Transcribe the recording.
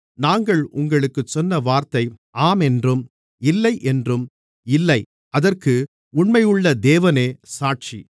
நாங்கள் உங்களுக்குச் சொன்ன வார்த்தை ஆம் என்றும் இல்லை என்றும் இல்லை அதற்கு உண்மையுள்ள தேவனே சாட்சி